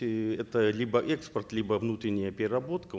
и это либо экспорт либо внутренняя переработка